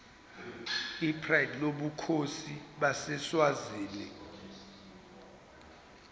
pride lobukhosi baseswazini